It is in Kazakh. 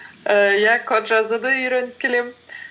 ііі иә код жазуды үйреніп келемін